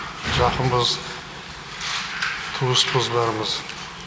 жақынбыз туыспыз бәріміз